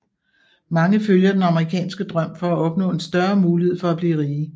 Mange følger den amerikanske drøm for at opnå en større mulighed for at blive rige